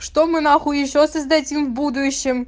что мы нахуй ещё создадим в будущем